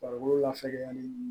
Farikolo lafiyalen don